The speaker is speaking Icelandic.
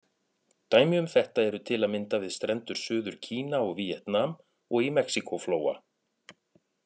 Dæmi um þetta eru til að mynda við strendur Suður-Kína og Víetnam, og í Mexíkó-flóa.